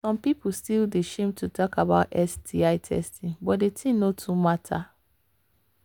some people still they shame to talk about sti testing but the thing no too matter